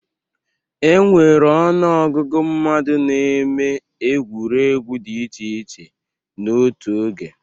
E nwere ọnụ ọgụgụ mmadụ na-eme egwuregwu dị iche iche n'ótú oge.